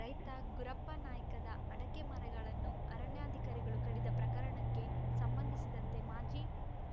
ರೈತ ಗುರಪ್ಪ ನಾಯ್ಕದ ಅಡಕೆ ಮರಗಳನ್ನು ಅರಣ್ಯಾಧಿಕಾರಿಗಳು ಕಡಿದ ಪ್ರಕರಣಕ್ಕೆ ಸಂಬಂಧಿಸಿದಂತೆ ಮಾಜಿ